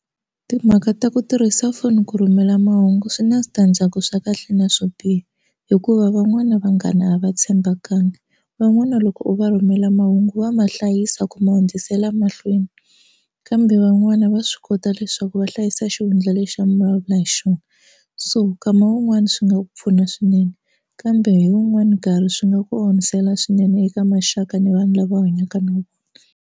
Timhaka ta ku tirhisa foni ku rhumela mahungu swi na switandzhaku swa kahle na swo biha hikuva van'wana vanghana lava tshembakangi van'wana loko va rhumela mahungu va ma hlayisa ku ma hundzisela mahlweni kambe van'wani va swi kota leswaku va hlayisa xihundla lexi a mi vulavula hi xona so kama wun'wani swi nga pfuna swinene kambe hi wun'wani nkarhi swi nga ku onhisela swinene eka maxaka ni vanhu lava hanyaka na vona.